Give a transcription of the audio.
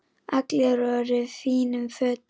Allir voru í fínum fötum.